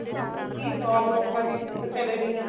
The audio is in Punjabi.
ਇਹੀ job ਲੋਕਾਂ ਦੀ ਫੇਰ ਚਲੇ ਗਈਆਂ